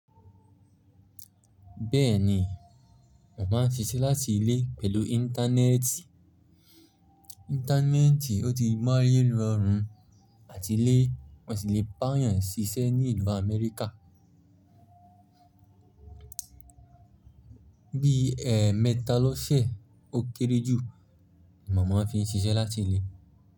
Bẹ́ẹ̀ni, mo máa ń ṣiṣẹ́ láti ilé pẹ̀lú íńtánẹ́ẹ̀tì. Íńtánẹ́ẹ̀tì ò tíì mọ́ ayé rọ̀run àtilé, mọ́ sì lè bààyàn ṣiṣẹ́ ní ìlú Amẹ́ríkà. Bí ẹ̀mẹ́ta lóṣẹ́ ó kéré jù, mo máa ń fín ṣiṣẹ́ láti ilé.